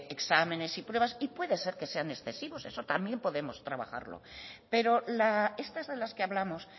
exámenes y pruebas puede ser que sean excesivos eso también podemos trabajarlo pero estas de las que hablamos